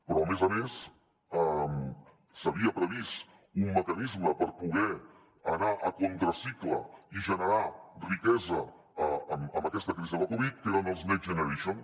però a més a més s’havia previst un mecanisme per poder anar a contracicle i generar riquesa en aquesta crisi de la covid que eren els next generation